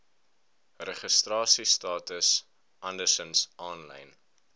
registrasiestatus andersins aanlyn